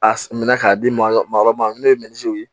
A s minɛ k'a di ma yɔrɔ ma yɔrɔ ma n'o ye ye